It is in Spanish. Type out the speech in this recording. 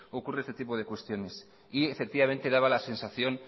ocurre este tipo de cuestiones y efectivamente daba la sensación